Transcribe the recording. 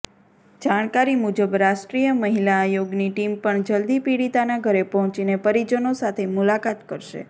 જાણકારી મુજબ રાષ્ટ્રીય મહિલા આયોગની ટીમ પણ જલ્દી પીડિતાના ઘરે પહોંચીને પરિજનો સાથે મુલાકાત કરશે